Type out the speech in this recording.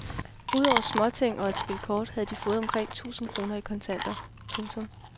Ud over småting og et spil kort havde de fået omkring tusind kroner i kontanter. punktum